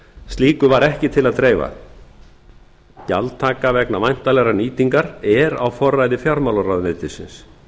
slíku var ekki til að dreifa gjaldtaka vegna væntanlegrar nýtingar er á forræði fjármálaráðuneytisins